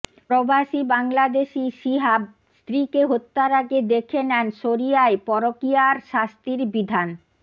প্রবাসী বাংলাদেশি শিহাব স্ত্রীকে হত্যার আগে দেখে নেন শরিয়ায় পরকীয়ার শাস্তির বিধান